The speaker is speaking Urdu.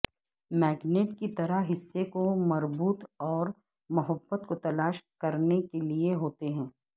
میگنےٹ کی طرح حصے کو مربوط اور محبت کو تلاش کرنے کے لئے ہوتے ہیں